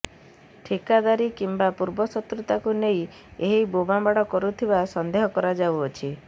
ଠିକାଦାରୀ କିମ୍ବା ପୂର୍ବଶତ୍ରୁତାକୁ ନେଇ ଏହି ବୋମା ମାଡ଼ କରୁଥିବା ସନ୍ଦେହ କରାଯାଉଛି